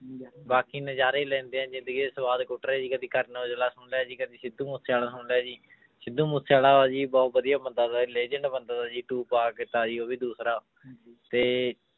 ਬਾਕੀ ਨਜ਼ਾਰੇ ਲੈਂਦੇ ਹਾਂ ਜ਼ਿੰਦਗੀ ਦੇ ਸਵਾਦ ਕੁੱਟ ਰਹੇ ਜੀ ਕਦੇ ਕਰਨ ਓਜਲਾ ਸੁਣ ਲਿਆ ਜੀ ਕਦੇ ਸਿੱਧੂ ਮੂਸੇਵਾਲਾ ਸੁਣ ਲਿਆ ਜੀ ਸਿੱਧੂ ਮੂਸੇਵਾਲਾ ਵਾ ਜੀ ਬਹੁਤ ਵਧੀਆ ਬੰਦਾ legend ਬੰਦਾ ਜੀ ਉਹ ਵੀ ਦੂਸਰਾ ਤੇ